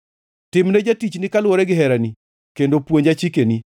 Timne jatichni kaluwore gi herani, kendo puonja chikeni.